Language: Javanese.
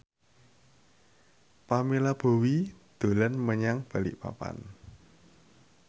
Pamela Bowie dolan menyang Balikpapan